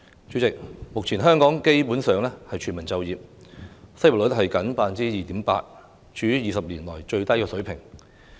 主席，目前香港基本上是全民就業，失業率僅 2.8%， 處於20年來最低水平。